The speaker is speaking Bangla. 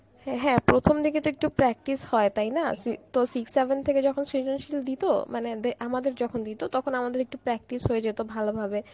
হ্যাঁ হ্যাঁ প্রথম দিকে তো একটু practice হয় তাই না, তো six seven থেকে যখন সেজনশীল দিত মানে মানে দে~ আমাদের যখন দিত তখন আমাদের একটু practice হয়ে যেত ভালো ভাবে